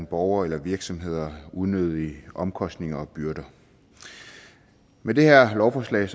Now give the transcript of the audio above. borgere eller virksomheder unødige omkostninger og byrder med det her lovforslag